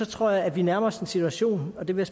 tror jeg at vi nærmer os en situation og det vil